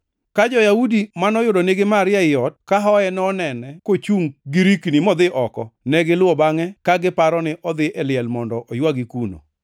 Ka jo-Yahudi manoyudo nigi Maria ei ot, kahoye, nonene kochungʼ girikni modhi oko, negiluwo bangʼe, ka giparo ni odhi e liel mondo oywagi kuno.